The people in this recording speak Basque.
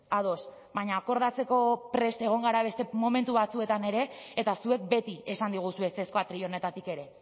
ados baina akordatzeko prest egon gara beste momentu batzuetan ere eta zuek beti esan diguzue ezezkoa atril honetatik ere